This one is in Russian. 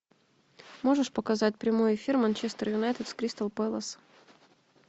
можешь показать прямой эфир манчестер юнайтед с кристал пэлас